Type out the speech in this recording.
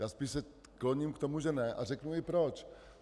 Já se spíše kloním k tomu, že ne, a řeknu i proč.